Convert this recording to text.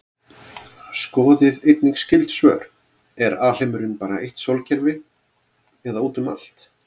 Skoðið einnig skyld svör: Er alheimurinn bara eitt sólkerfi eða út um allt?